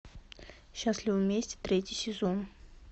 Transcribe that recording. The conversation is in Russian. счастливы вместе третий сезон